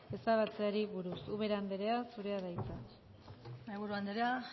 ezabatzeari buruz ubera anderea zurea da hitza mahaiburu anderea